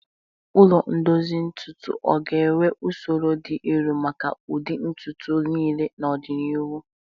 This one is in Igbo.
Ụlọ ndozi ntutu o ga-enwe usoro dị elu maka ụdị ntutu niile n'ọdịnihu?